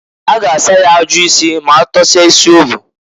A ga asa ya ajụ isi m'atọsịa isi o bu.